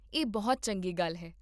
ਇਹ ਬਹੁਤ ਚੰਗੀ ਗੱਲ ਹੈ